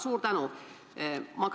Suur tänu!